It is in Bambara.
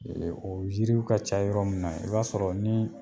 o yiriw ka ca yɔrɔ min na i b'a sɔrɔ ni